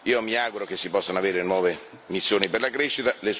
Io mi auguro che si possano avere nuove missioni per la crescita.